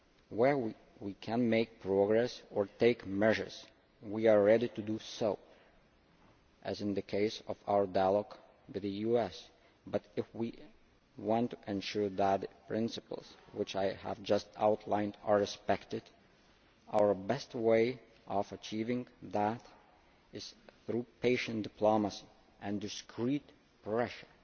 Where we can make progress or take measures, we are ready to do so, as in the case of our dialogue with the US but, if we want to ensure that the principles which I have just outlined are respected, our best way of achieving that is through patient diplomacy and discreet pressure.